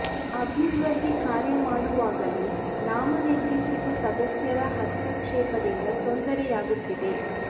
ಅಭಿವೃದ್ಧಿ ಕಾರ್ಯ ಮಾಡು ವಾಗಲೂ ನಾಮ ನಿರ್ದೇಶಿತ ಸದಸ್ಯರ ಹಸ್ತಕ್ಷೇಪ ದಿಂದ ತೊಂದರೆ ಯಾಗು ತ್ತಿದೆ